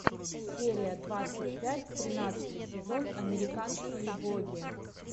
серия двадцать пять тринадцатый сезон американские боги